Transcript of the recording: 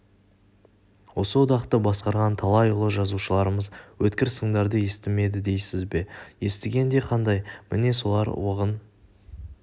осы одақты басқарған талай ұлы жазушыларымыз өткір сындарды естімеді дейсіз бе естігенде қандай міне солар уығын